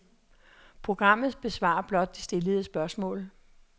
Programmet besvarer blot det stillede spørgsmål.